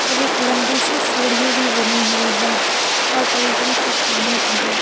और एक लंबी सी सीढ़ी भी बनी हुई है और बड़ी बड़ी चट्टानें भी हैं।